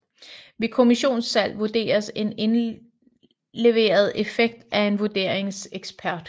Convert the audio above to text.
Ved kommisonssalg vurderes en indleveret effekt af en vurderingsekspert